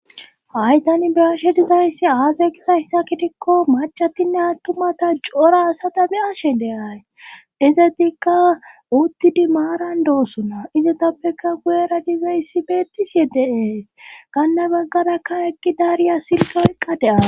Hay tani beashe dizayssi aazay gisayssa kidikko macatinne attumata cora asata be ashe de ay izetikka uttidi maaran doosuna izetappeka guyera dibeyssi beettis yedde ees kanne bagganakkan ekki daariya silka oyqqa deaara